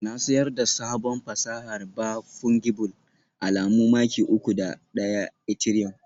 Na siyar da sabon fasahar ba Fungible alamu maki uku da ɗaya Ethereum